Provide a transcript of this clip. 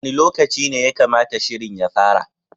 Wani lokaci ne ya kamata shirin ya fara?